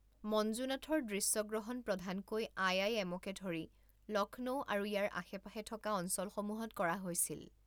মঞ্জুনাথৰ দৃশ্যগ্ৰহণ প্ৰধানকৈ I I M K ধৰি লক্ষ্ণৌ আৰু ইয়াৰ আশে পাশে থকা অঞ্চলসমূহত কৰা হৈছিল।